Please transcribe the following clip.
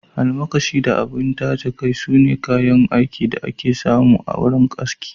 Almakashi da abun taje kai, sune kayan aikin da aka fi samu a wuraren aski.